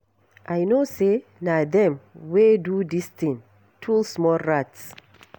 I know say na dem wey do dis thing. Two small rats.